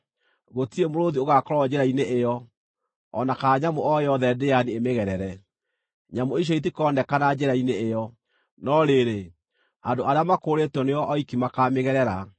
Gũtirĩ mũrũũthi ũgaakorwo njĩra-inĩ ĩyo, o na kana nyamũ o yothe ndĩani ĩmĩgerere; nyamũ icio itikoonekana njĩra-inĩ ĩyo. No rĩrĩ, andũ arĩa makũũrĩtwo nĩo oiki makaamĩgerera,